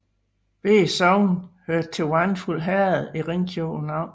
Begge sogne hørte til Vandfuld Herred i Ringkøbing Amt